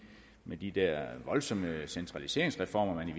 med de der voldsomme centraliseringsreformer man i